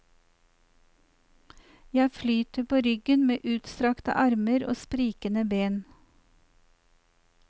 Jeg flyter på ryggen med utstrakte armer og sprikende ben.